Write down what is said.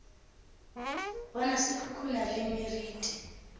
bona se khukhuna le meriti